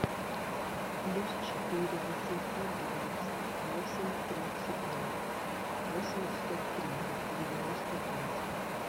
плюс четыре восемьсот двадцать восемь тридцать ноль восемьдесят три девяносто пять